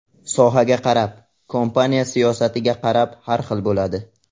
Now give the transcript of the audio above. Sohaga qarab, kompaniya siyosatiga qarab har xil bo‘ladi.